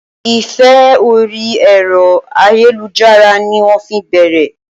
Ìfẹ́ orí ẹ̀rọ ayélujára ni wọ́n fi bẹ̀rẹ̀